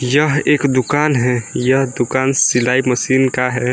यह एक दुकान है यह दुकान सिलाई मशीन का है।